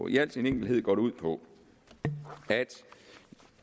i al sin enkelhed går det ud på at